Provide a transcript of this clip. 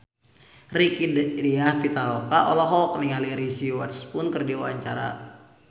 Rieke Diah Pitaloka olohok ningali Reese Witherspoon keur diwawancara